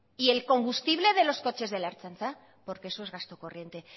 y el combustible de los coches de la ertzaintza porque eso es gasto corriente